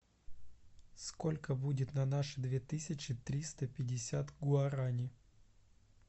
сколько будет на наши две тысячи триста пятьдесят гуарани